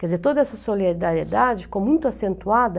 Quer dizer, toda essa solidariedade ficou muito acentuada